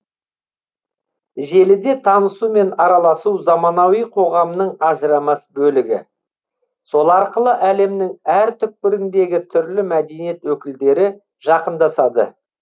желіде танысу мен араласу заманауи қоғамның ажырамас бөлігі сол арқылы әлемнің әр түкпіріндегі түрлі мәдениет өкілдері жақындасады